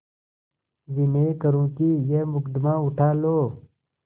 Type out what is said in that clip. विनय करुँ कि यह मुकदमा उठा लो